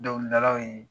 Dɔnkilidalaw ye